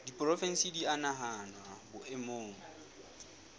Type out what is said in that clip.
diporofensi di a nahanwa boemong